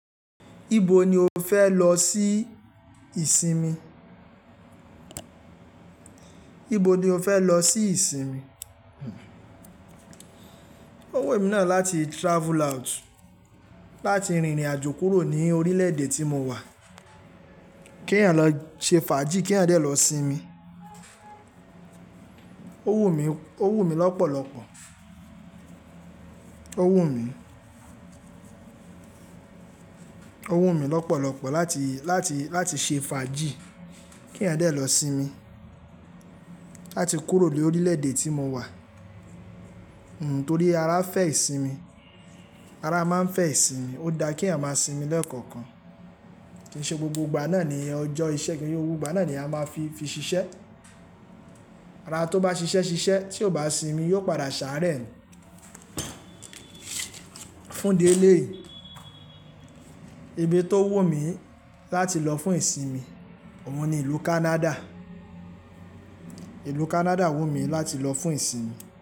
Ibo ni o fẹ lọ sí ìsinmi? Ibo ni o fẹ lọ sí ìsinmi? Ó wù emí náà láti travel out, láti rìnrìn àjò kúrò ní orílẹ̀-èdè tí mo wà. Kí ẹ̀yin lọ ṣe fàájì, kí ẹ̀yin de lọ sinmi. Ó wù mí, ó wù mí lọ́pọ̀lọpọ̀. Ó wù mí, ó wù mí lọ́pọ̀lọpọ̀ láti, láti, láti ṣe fàájì kí ẹ̀yin de lọ sinmi. Láti kúrò ní orílẹ̀-èdè tí mo wà. Nn, torí ara fẹ́ ìsinmi. Ara máa ń fẹ́ ìsinmi. Ó dá kí ẹ̀yin máa sinmi lẹ́ẹ̀kọ̀kan. Kí n ṣe gbogbo ìgbà náà ni ẹ jọ iṣẹ́ kí n se gbogbo ìgbà náà ni a máa fi, fi ṣiṣẹ́. Ara tó bá ṣiṣẹ́ ṣiṣẹ́ tí kò bá sinmi yóò padà ṣàárẹ̀ ni. Fún idi eleyi ibi tó wù mí láti lọ fún ìsinmi, òun ni ìlú Canada. Ìlú Canada wù mí láti lọ fún ìsinmi.